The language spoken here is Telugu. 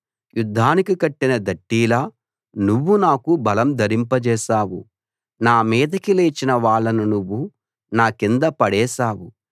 యుద్ధానికి కట్టిన దట్టీలా నువ్వు నాకు బలం ధరింపజేశావు నా మీదికి లేచిన వాళ్ళను నువ్వు నా కింద పడేశావు